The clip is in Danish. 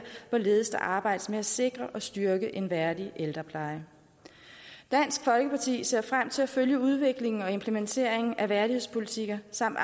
hvorledes der arbejdes med at sikre og styrke en værdig ældrepleje dansk folkeparti ser frem til at følge udviklingen og implementeringen af værdighedspolitikker samt